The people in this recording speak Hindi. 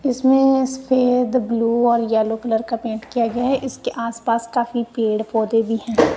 इसमें सफेद ब्लू और यलो कलर का पेंट किया गया हैं इसके आस पास काफी पेड़ पौधे भी है।